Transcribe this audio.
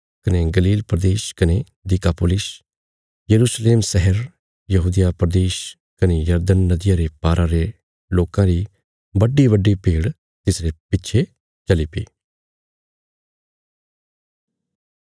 कने गलील प्रदेश कने दिकापुलिस यरूशलेम शहर यहूदिया प्रदेश कने यरदन नदिया रे पारा रे लोकां री बड्डीबड्डी भीड़ तिसरे पिच्छे चलीपी